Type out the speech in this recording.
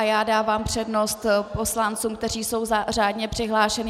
A já dávám přednost poslancům, kteří jsou řádně přihlášení.